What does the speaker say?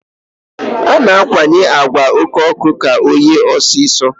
A na-akwanye àgwà oké ọkụ ka ọ ghee ọsịsọ.